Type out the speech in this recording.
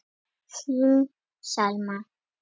Þín Selma.